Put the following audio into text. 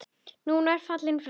Nú ertu fallinn frá.